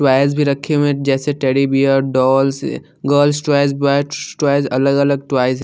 toys भी रखे हुए हैं जैसे-टेडी bear dolls girls toys boy toys अलग-अलग टॉव्यज् --